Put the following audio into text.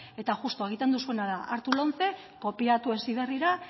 eta juxtu egiten duzuena hartu lomce kopiatu heziberrira